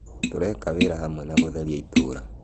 Tũreka wĩra hamwe wa gũtheria itũra